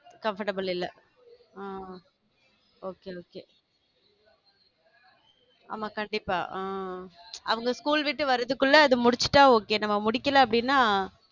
Comfortable இல்ல ஆஹ் okay okay ஆமா கண்டிப்பா ஆ அவங்க school விட்டு வர்றதுக்குள்ள அதை முடிச்சுட்டா okay நம்ம முடிக்கல அப்படின்னா